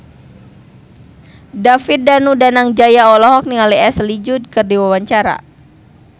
David Danu Danangjaya olohok ningali Ashley Judd keur diwawancara